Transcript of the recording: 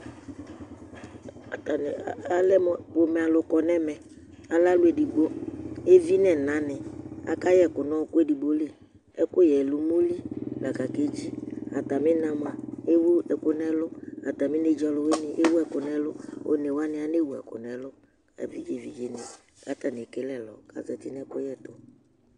Ataŋi alɛmu ƒomɛ alu kɔ ŋu ɛmɛ Alɛ ɔlu ɛɖigbo Evi ŋu ina ni Akayɛ ɛku ŋu ɔku ɛɖigbo li Ɛkʋyɛ lɛ ʋmoli lakʋ akedzi Atamì ina mʋa ewu ɛku ŋu ɛlu Atami ɔluwini ɛwu ɛku ŋu ɛlu Ɔnewaŋi anewu ɛku ŋu ɛlu Evidze vidze ni kʋ ataŋi ekele ɛlɔ kʋ azɛti ŋu ɛkʋɣɛ tu